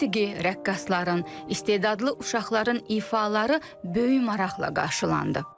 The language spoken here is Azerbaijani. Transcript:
Musiqi, rəqqasların, istedadlı uşaqların ifaları böyük maraqla qarşılandı.